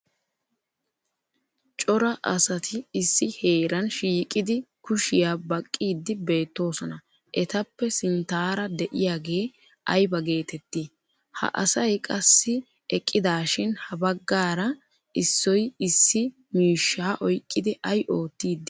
Cora asati issi heeran shiiqidi kushiya baqqiiddi beettoosona etappe sinttaara de'iyaagee ayba geettettii? Ha asay qassi eqqidaashin ha baggara issoy issi miishshaa oyqqidi ay oottiiddi beettii?